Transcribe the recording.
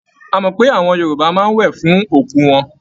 A mọ̀ pé àwọn Yorùbá máa ń wẹ̀ fún òkú wọn.